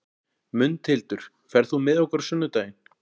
Mundhildur, ferð þú með okkur á sunnudaginn?